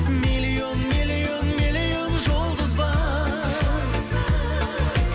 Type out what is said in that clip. миллион миллион миллион жұлдыз бар